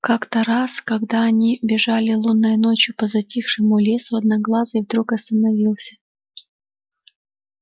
как то раз когда они бежали лунной ночью по затихшему лесу одноглазый вдруг остановился